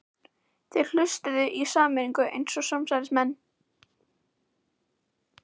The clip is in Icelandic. Þeir hlustuðu í sameiningu eins og samsærismenn.